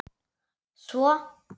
Svo?